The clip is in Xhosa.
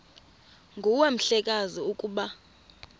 nguwe mhlekazi ukuba